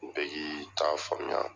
Bɛ k'i t'a faamuya